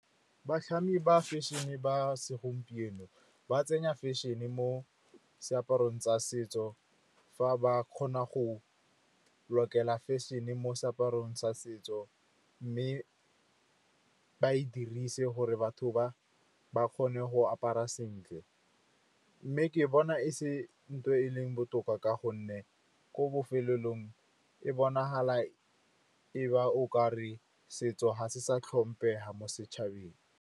Batlhami ba fashion-e ba segompieno ba tsenya fashion-e mo seaparong tsa setso fa ba kgona go lokela fashion-e mo seaparong sa setso, mme ba e dirise gore batho ba kgone go apara sentle. Mme ke bona e se ntho e leng botoka ka gonne ko bofelelong e bonala e ba okare setso ga se sa tlhompega mo setšhabeng.